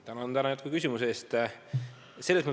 Tänan jätkuküsimuse eest!